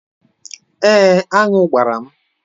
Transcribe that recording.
Èé, aṅụ gbara m.